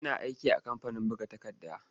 Yana aiki a kamfanin buga takarda.